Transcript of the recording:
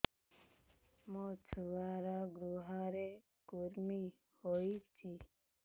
ମୋ ଛୁଆର୍ ଗୁହରେ କୁର୍ମି ହଉଚି